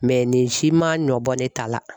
Mɛ nin si ma bɔ ne ta la.